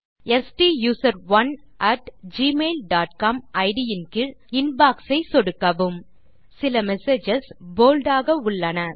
ஸ்டூசரோன் at gmail dot com இட் இன் கீழ் இன்பாக்ஸ் ஐ சொடுக்கவும் சில மெசேஜஸ் போல்ட் ஆக உள்ளன